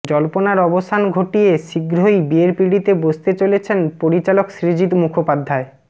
জল্পনার অবসান ঘটিয়ে শীঘ্রই বিয়ের পিড়িতে বসতে চলেছেন পরিচালক সৃজিত মুখোপাধ্যায়